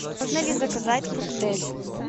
можно ли заказать коктейль